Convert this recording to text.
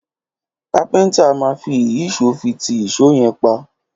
Kápintá má fi ìyísòó fi ti ìsó yen pá